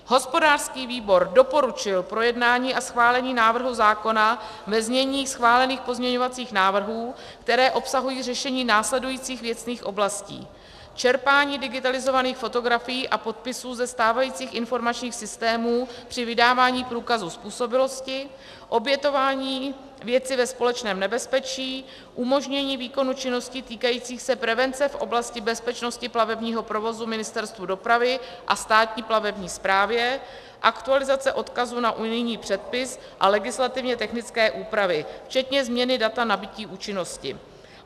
Hospodářský výbor doporučil projednání a schválení návrhu zákona ve znění schválených pozměňovacích návrhů, které obsahují řešení následujících věcných oblastí: čerpání digitalizovaných fotografií a podpisů ze stávajících informačních systémů při vydávání průkazu způsobilosti, obětování věci ve společném nebezpečí, umožnění výkonu činností týkajících se prevence v oblasti bezpečnosti plavebního provozu Ministerstvu dopravy a Státní plavební správě, aktualizace odkazů na unijní předpis a legislativně technické úpravy, včetně změny data nabytí účinnosti.